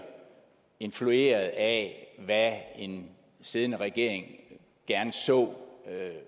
influeret af hvad en siddende regering gerne så